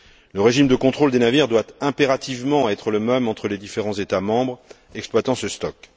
Le régime de contrôle des navires doit impérativement être le même entre les différents États membres exploitant ce stock.